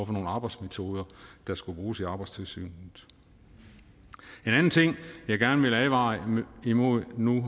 for nogle arbejdsmetoder der skulle bruges i arbejdstilsynet en anden ting jeg gerne vil advare imod nu